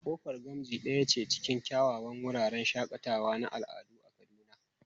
Kofar Gamji daya ce cikin kyawawan wuraren shakatawa na al'adu a Kaduna.